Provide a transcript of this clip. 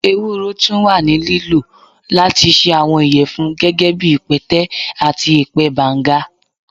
ewuro tun wa ni lilo lati ṣe awọn iyẹfun, gẹgẹbi ipẹtẹ ati ipẹ banga.